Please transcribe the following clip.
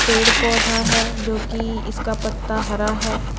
पेड़-पौधा हैं जो की इसका पत्ता हरा हैं।